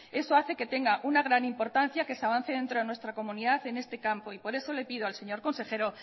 eso hace que tenga una gran importancia que se avance dentro de nuestra comunidad en este campo y por eso le pido al señor consejero